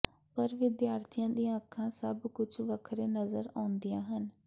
ਪਰ ਵਿਦਿਆਰਥੀਆਂ ਦੀਆਂ ਅੱਖਾਂ ਸਭ ਕੁਝ ਵੱਖਰੇ ਨਜ਼ਰ ਆਉਂਦੀਆਂ ਹਨ